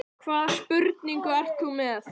Hvaða spurningu ert þú með?